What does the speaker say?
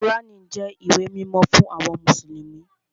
Kùránì jẹ́ ìwé mímọ́ fún àwọn mùsùlùmí